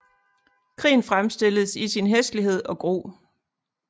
Krigen fremstilles i sin hæslighed og gru